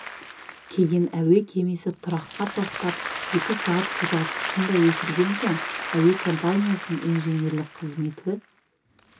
кейін әуе кемесі тұраққа тоқтап сағат екі қозғалтқышын да өшірген соң әуе компаниясының инженерлік қызметі